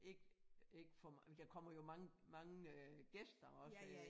Ikke ikke for der kommer jo mange mange øh gæster også øh